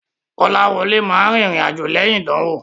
Kọ́láwọlé ma rìnrìn àjò lẹ́yìn ìdánwò.